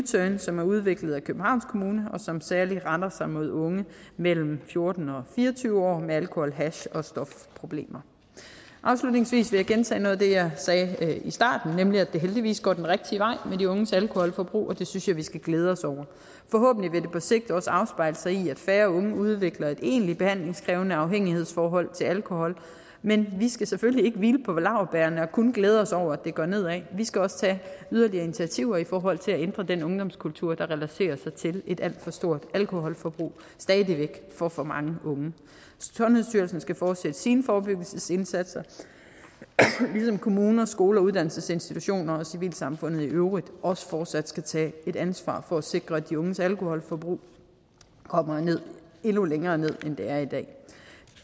turn som er udviklet af københavns kommune og som særlig retter sig mod unge mellem fjorten og fire og tyve år med alkohol hash og stofproblemer afslutningsvis vil jeg gentage noget af det jeg sagde i starten nemlig at det heldigvis går den rigtige vej med de unges alkoholforbrug og det synes jeg vi skal glæde os over forhåbentlig vil det på sigt også afspejle sig i at færre unge udvikler et egenligt behandlingskrævende afhængighedsforhold til alkohol men vi skal selvfølgelig ikke hvile på laurbærrene og kun glæde os over at går nedad vi skal også tage yderligere initiativer i forhold til at ændre den ungdomskultur der relaterer sig til et alt for stort alkoholforbrug stadig væk for for mange unge sundhedsstyrelsen skal fortsætte sine forebyggelsesindsatser ligesom kommuner skoler og uddannelsesinstitutioner og civilsamfundet i øvrigt også fortsat skal tage et ansvar for at sikre at de unges alkoholforbrug kommer endnu længere ned end det er i dag